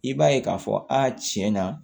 I b'a ye k'a fɔ a tiɲɛ na